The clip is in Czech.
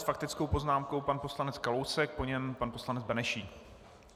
S faktickou poznámkou pan poslanec Kalousek, po něm pan poslanec Benešík.